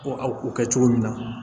Ko aw kɛ cogo min na